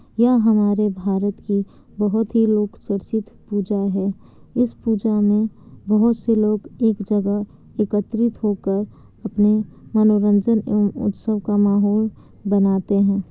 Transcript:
यह हमारे भारत की बहुत ही लोक चर्चित पूजा है इस पूजा में बहुत से लोग एक जगह एकत्रित होकर अपने मनोरंजन एवं उत्सव का माहौल बनाते हैं।